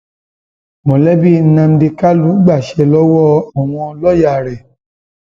mọlẹbí nnamdi kanu gbaṣẹ lọwọ àwọn lọọyà rẹ